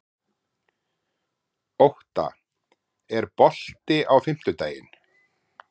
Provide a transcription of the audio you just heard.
Ótta, er bolti á fimmtudaginn?